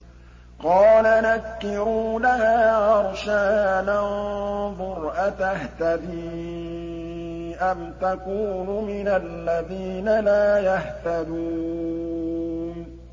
قَالَ نَكِّرُوا لَهَا عَرْشَهَا نَنظُرْ أَتَهْتَدِي أَمْ تَكُونُ مِنَ الَّذِينَ لَا يَهْتَدُونَ